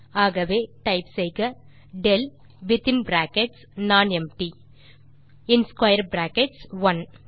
ஆகவே டைப் செய்க del வித்தின் பிராக்கெட்ஸ் நானெம்ப்டி மற்றும் ஸ்க்வேர் பிராக்கெட்ஸ் 1